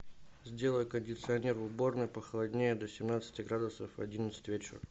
сделай кондиционер в уборной похолоднее до семнадцати градусов в одиннадцать вечера